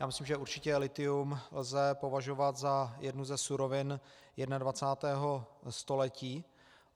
Já myslím, že určitě lithium lze považovat za jednu ze surovin 21. století.